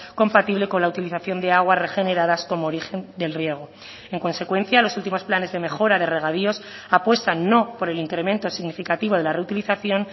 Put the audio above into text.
compatible con la utilización de aguas regeneradas como origen del riego en consecuencia los últimos planes de mejora de regadíos apuestan no por el incremento significativo de la reutilización